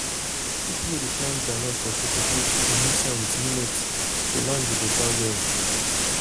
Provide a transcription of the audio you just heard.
people wey dey plant groundnut for sokoto dey mix am with millet so land go better well well.